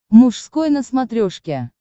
мужской на смотрешке